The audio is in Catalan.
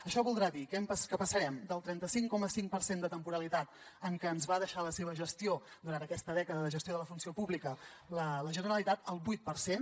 això voldrà dir que passarem del trenta cinc coma cinc per cent de temporalitat en què ens va deixar la seva gestió durant aquesta dècada de gestió de la funció pública a la generalitat al vuit per cent